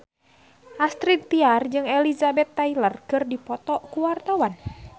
Astrid Tiar jeung Elizabeth Taylor keur dipoto ku wartawan